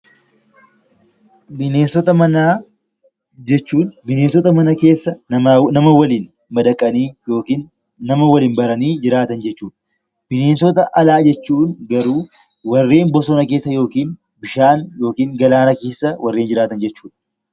Bineensota manaa jechuun bineensota mana keessa nama waliin madaqanii yookiin nama waliin baranii jiraatan jechuudha. Bineensota alaa jechuun garuu warreen bosona keessa yookiin bishaan yookiin galaana keessa warreen jiraatan jechuudha.